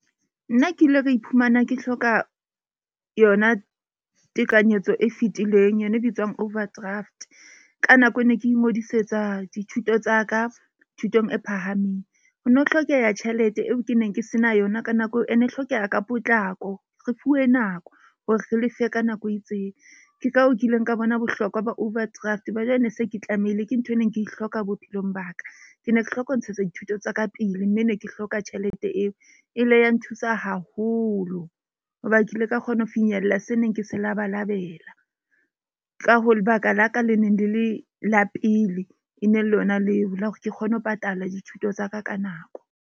Nna ke ile ka iphumana ke hloka yona tekanyetso e fitileng yona e bitswang overdraft. Ka nako e ne ke ingodisetsa dithuto tsa ka thutong e phahameng. Ho ne ho hlokeha tjhelete eo ke neng ke se na yona ka nako eo e ne e hlokeha ka potlako. Re fuwe nako hore re lefe ka nako e itseng. Ke ka hoo ke ileng ka bona bohlokwa ba overdraft, ba jwale ne se ke tlamehile ke nthwe e neng ke e hloka bophelong ba ka. Ke ne ke hloka ho ntshetsa dithuto tsa ka pele. Mme ne ke hloka tjhelete eo. E ile ya nthusa haholo hoba ke ile ka kgona ho finyella se neng ke se labalabela. Ka ho lebaka la ka le ne le le la pele, e ne le yona leo la hore ke kgone ho patala dithuto tsa ka ka nako.